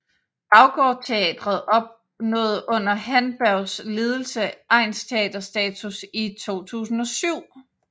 BaggårdTeatret opnåede under Handbergs ledelse egnsteaterstatus i 2007